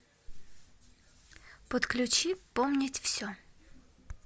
подключи помнить все